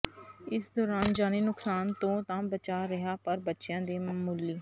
ਇਸ ਦੌਰਾਨ ਜਾਨੀ ਨੁਕਸਾਨ ਤੋਂ ਤਾਂ ਬਚਾਅ ਰਿਹਾ ਪਰ ਬੱਚਿਆਂ ਦੇ ਮਾਮੂਲੀ